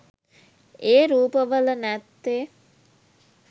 ඒ රූප වල නැත්තෙ?